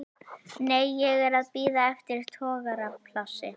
Nei, ég er að bíða eftir togaraplássi.